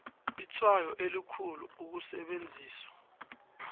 itshwayo elikhulu ukusetjenziswa